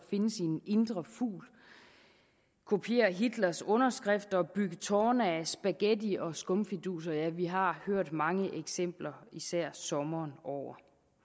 finde sin indre fugl kopiere hitlers underskrift og bygge tårne af spaghetti og skumfiduser ja vi har hørt mange eksempler især sommeren over